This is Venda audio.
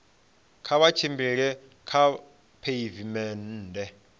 kha vha tshimbile kha pheivimennde